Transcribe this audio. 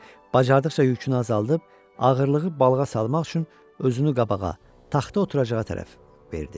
Bacardığıca yükünü azaldıb, ağırlığı balığa salmaq üçün özünü qabağa, taxta oturacağa tərəf verdi.